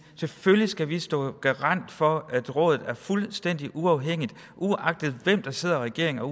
selvfølgelig skal vi stå som garant for at rådet er fuldstændig uafhængigt uagtet hvem der sidder i regering og